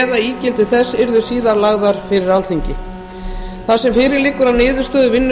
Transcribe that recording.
eða ígildi þess yrðu síðar lagðar fyrir alþingi þar sem fyrir liggur að niðurstöður vinnu